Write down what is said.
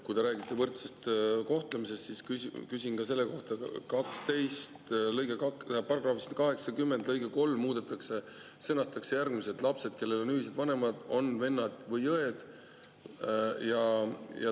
Kui te räägite võrdsest kohtlemisest, siis küsin selle kohta, et § 80 lõige 3 muudetakse ja sõnastatakse järgmiselt: "Lapsed, kellel on ühised vanemad, on vennad või õed.